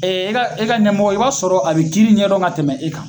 e ka ɲɛmɔgɔ, i b'a sɔrɔ a be kiiri ɲɛdɔn ka tɛmɛ e kan